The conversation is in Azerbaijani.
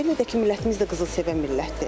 Belə də ki, millətimiz də qızıl sevən millətdir.